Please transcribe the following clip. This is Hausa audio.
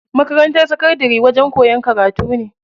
Makarantar sakandari wajen koyan karatu ne.